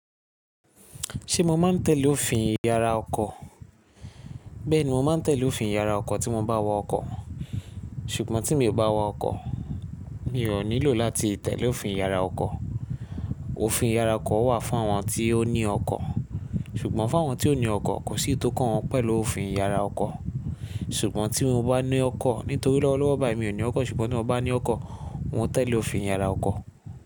Ṣé mo máa ń tẹ̀ lé òfin ìyára ọkọ̀? Bẹ́ẹ̀ni, mo máa ń tẹ̀lé òfin ìyára ọkọ̀ tí mo bá wa ọkọ̀. Ṣùgbọ́n tí mi ò bá wa ọkọ̀, mi ò nílò láti tẹ̀lé òfin ìyára ọkọ̀. Òfin ìyara ọkọ̀ wà fún àwọn tí ó ní ọkọ̀. Ṣùgbọ́n fún àwọn tí ò ní ọkọ̀ kò sí tó kàn wọ́n pẹ̀lú òfin ìyára ọkọ̀. Ṣùgbọ́n tí mo bá ní ọkọ̀, nítorí lọ́wọ́lọ́wọ́ báyìí mi ò ní ọkọ̀, ṣùgbọ́n tí mo bá ní ọkọ̀, mò ń tẹ̀lé òfin ìyára ọkọ̀.